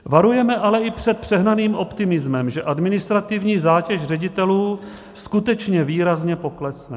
Varujeme ale i před přehnaným optimismem, že administrativní zátěž ředitelů skutečně výrazně poklesne.